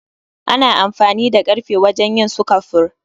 Ana amfani da karfe wajen yin sukafur